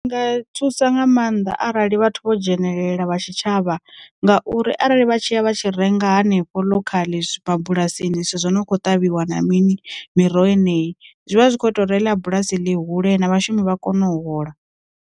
Nga thusa nga maanḓa arali vhathu vho dzhenelela vha tshitshavha ngauri arali vha tshi ya vha tshi renga hanefho ḽokhaḽa mabulasini zwithu zwo no kho ṱavhiwa na mini miroho yeneyi, zwivha zwi kho ita reila bulasi ḽi hule na vhashumi vha kone u hola.